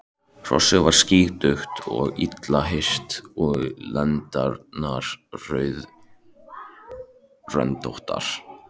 Hrossið var skítugt og illa hirt og lendarnar rauðröndóttar.